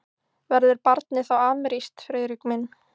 Verður barnið þá amerískt, Friðrik minn?